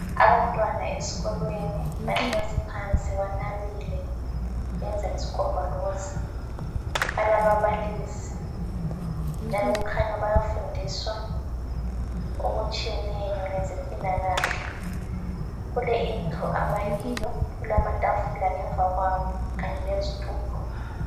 Abantwana esikolweni bahlezi phansi banabile benza isigombolozi balaba balisi njalo kukhanya bayafundiswa okutshiyeneyo ngezempilakahle. Kule indlu abakiyo kulamatafula ngemva kwabo kanye lezitulo.